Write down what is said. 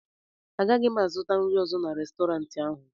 Agaghị m azụta nri ọzọ n'Restọrantị ahụ